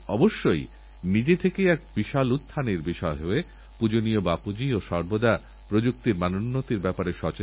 একইসঙ্গে আবিষ্কারপরীক্ষানিরীক্ষা ও শিল্পোদ্যোগের এক ধারাবাহিকতা চলুক এতে নতুন নতুন কাজেরসম্ভাবনাও বাড়বে